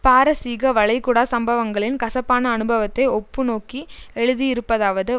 பாரசீக வளைகுடா சம்பவங்களின் கசப்பான அனுபவத்தை ஒப்புநோக்கி எழுதியிருப்பதாவது